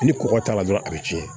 Ni kɔgɔ t'a la dɔrɔn a bɛ tiɲɛ